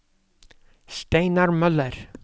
Steinar Møller